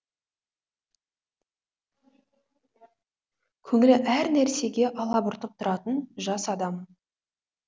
көңілі әр нәрсеге алабұртып тұратын жас адам